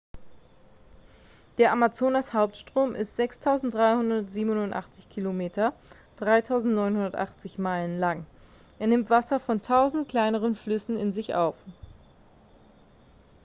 der amazonas-hauptstrom ist 6387 km 3980 meilen lang. es nimmt wasser von tausenden kleineren flüssen in sich auf